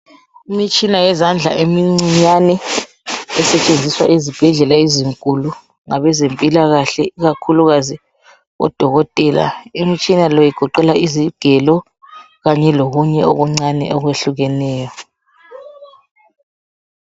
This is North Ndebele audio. Imitshina yezandla emincinyane, esetshenziswa ezibhedlela ezinkulu ngabezempilakahle ikakhulukazi odokotela. Imitshina le igoqela izigelo kanye lokunye okuncane okwehlukeneyo.